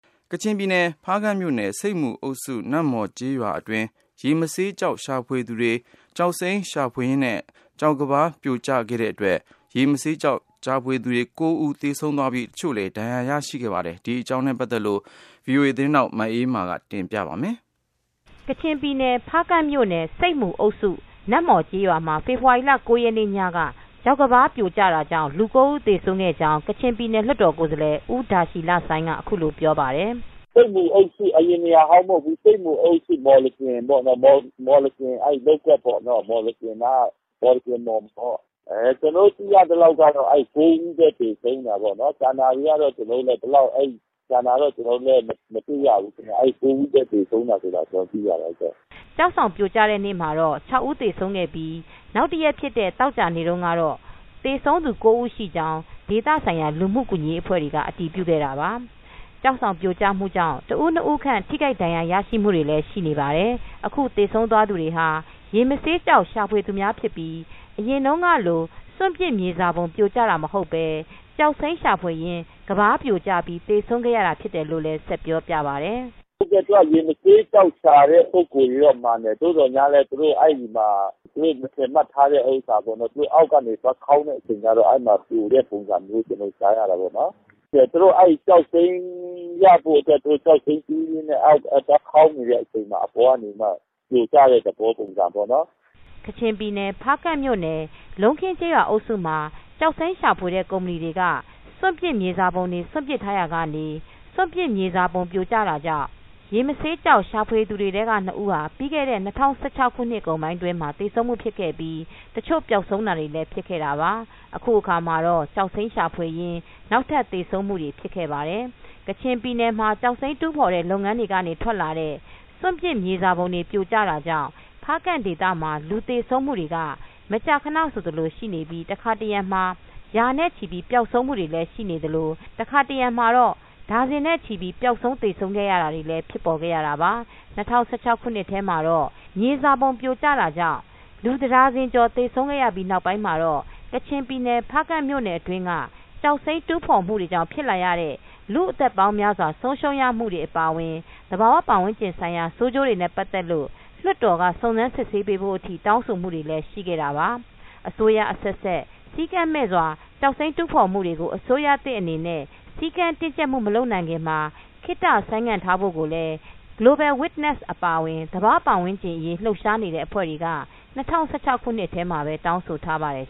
ကချင်ပြည်နယ် ဖားကန့်မြို့နယ်၊ဆိပ်မူအုပ်စု၊ နမ့်မှော် ကျေးရွာအတွင်း ရေမဆေးကျောက် ရှာဖွေသူတွေ ကျောင်းစိမ်းရှာဖွေရင်းနဲ့ ကျောက်ကမ်းပါးပြိုကျတဲ့အတွက်ရေမဆေးကျောက်ရှာဖွေသူ ၉ဦး သေဆုံးပြီး တချို့ဒဏ်ရာရရှိခဲ့ပါတယ်။ မအေးအေးမာကသတင်းပေးပို့ ထားပါတယ်။ ကချင်ပြည်နယ် ဖားကန့်မြိုနယ်၊ ဆိပ်မူအုပ်စု နမ့်မှော်ကျေးရွာမှာ ဖေဖေါ်ဝါရီလ ၉ ရက်နေ့ ညက ကျောက်ကမ်းပါး ပြိုကျတာကြောင့် လူ၉ဦၤးသေဆုံးခဲ့ကြောင်း ကချင်ပြည်နယ် လွှတ်တော်ကိုယ်စားလှယ် ဦးဒါရှီလဆိုင်းက အခုလိုပြောပါတယ်။ “ ဆိပ်မူအုပ်စု အရင်နေရာကတော့ မဟုတ်ဘူး၊ ဆိပ်မူအပ်စု နမ့်မှော်ကျေးရွာ၊ မော်လကင်မှော် က လုပ်ကွက်ပေါ့နော်ကျနော်တို့သိရသလောက်ကတော့ အဲဒီမှာ ကျောက်ကမ်းပါး ပြိုတာပေါ့နော် ကျန်တာတွေကတော့ ကျနော်တို့လည်း မသိရဘူး အဲဒီ ၉ဦၤးသေတယ်ဆိုတာပဲ သိရတယ်။” ကျောက်ဆောင်ပြိုကျတဲ့နေမှာတော့ ၆ဦး သေဆုံးခဲ့ပြီး နောက်တရက်ဖြစ်တဲ့ သောကြာနေတုန်း ကတော့ သေဆုံးသူ ၉ဦးရှိကြောင်း ဒေသဆိုင်ရာ လူမူကူညီရေးအဖွဲ့တွေက အတည်ပြုခဲ့တာပါ။ ကျောက်ဆောင်ပြိုကျမှုကြောင့် ၁ဦး- ၂ဦးခန့် ထိခိုက်ဒဏ်ရာရမူတွေလည်း ရှိနေပါတယ် ။ အခုသေဆုံးသွားသူတွေဟာ ရေမဆေးကျောက်ရှာဖွေသူများဖြစ်ပြီးအရင်တုန်းကလို စွန်ပစ်မြေစာပုံ ပြိုကျတာမဟုတ်ပဲ ကျောင်စိမ်းရှာဖွေရင်း ကမ်းပါးပြိုကျပြီးသေဆုံးခဲ့ကြတာဖြစ်တယ် လို့လည်း ဆက်ပြောပြပါတယ်။ “ရေမဆေးကျောက်ရှာတဲ့လူတွေကတော့ မှန်တယ် သို့သော်လည်း သူတို့ အဲဒီမှာ မထင်မှတ်ထားတဲ့ နေရာပေါ့နော် သူတို့ အောက်ကနေသွားလုပ်တဲ့အချိန်ကျတော့ ကမ်းပါးပြိုကျတာမျိုးတို့ဖြစ်တာပေါ့နော် ။ သူတို့ အဲဒီ ကျောက်စိမ်းရဖို့အတွက် သူတို့ အောက်ကိုကျောက်စိမ်းတူးရင်းအချိန်မှာ အပေါ်ကနေပြီးတော့မှပြိုကျတဲ့ ပုံစံပေါ့နော်။” ကချင်ပြည်နယ် ဖားကန့်မြို့နယ်၊ လုံးခင်းကျေးရွာအုပ်စုမှာ ကျောက်စိမ်းရှာဖွေတဲ့ ကုမ္ပဏီတွေက စွန်ပစ်မြေစာပုံတွေ စွန့်ပစ်ထားရာကနေ စွန့်ပစ်မြေစာပုံပြိုကျတာကြောင့် ရေမဆေးကျောက် ရှာဖွေသူတွေထဲက ၂ဦးပြီးခဲ့တဲ့ ၂၀၁၆နှစ်ကုန်ပိုင်း အတွင်း သေဆုံးမူဖြစ်ပြီး တချို့ ပျောက်ဆုံးတာတွေလည်းဖြစ်ခဲ့တာပါ။ အခုအခါမှာတော့ကျောက်စိမ်းရှာဖွေရင်းနောက်ထပ်သေဆုံးမူ ဖြစ်ခဲ့ပါတယ်။ ကချင်ပြည်နယ်မှာ ကျောက်စိမ်းတူးဖော်တဲ့ လုပ်ငန်းတွေကနေ ထွက်လာတဲ့ စွန့်ပစ်မြေစာပုံတွေ ပြိုကျမှုကြောင့် ဖားကန့်ဒေသမှာ လူသေဆုံးမှုက မကြာခဏဆိုသလို ရှိနေပြီ တခါတရံမှာ ရာနဲ့ချီ ပျောက်ဆုံးမူတွေ ရှိသလို တခါတရံ မှာတော့ ဒါဇင်နဲ့ချီ ပြီး ပျောက်ဆုံးသေဆုံးနေကြရတာလည်း ဖြစ်ခဲ့ရတာပါ။ ၂၀၁၆ ခုနှစ်ထဲမှာပဲ မြေစာပုံ ပြိုကျမှုကြောင့် လူ ၁ဒါဇင်ကျော် သေဆုံးရပြီးနောက်မှာတော့ ကချင်ပြည်နယ် ဖားကန့်မြို့နယ်တွင်းက ကျောက်စိမ်း တူးဖော်မှုကြောင့် ဖြစ်လာတဲ့ လူ့အသက်ပေါင်းများစွာ ဆုံးရှုံးရမှုတွေ အပါအဝင် သဘာ၀ ပတ်ဝန်းကျင်ဆိုင်ရာ ဆိုးကျိုးတွေနဲ့ ပတ်သက်ပြီး လွှတ်တော်က စုံစမ်းစစ်ဆေးပေးဖို့ အထိတောင်းဆိုမူတွေလည်းရှိခဲ့တာပါ။ အစိုးရ အဆက်ဆက် စည်းကမ်းမဲ့ ကျောက်စိမ်းတူးဖော်မှုတွေကို အစိုးရသစ် အနေနဲ့ စည်းကမ်းတင်းကျပ်မှု မလုပ်နိုင်ခင်မှာ ခေတ္တဆိုင်းငံ့ထားဖို့ကိုလည်း Global Witness အပါအဝင် သဘာ၀ ပတ်ဝန်းကျင် အရေး လှုပ်ရှားနေတဲ့ အဖွဲ့တွေက ၂၀၁၆ခုနှစ်ထဲမှာ တောင်းဆိုထားပါတယ်